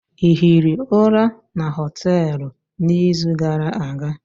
Ị hiri ụra na hostelụ n'izu gara aga?